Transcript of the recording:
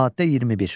Maddə 21.